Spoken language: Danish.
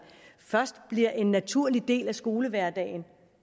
først bliver en naturlig del af skolehverdagen